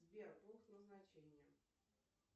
сбер пункт назначения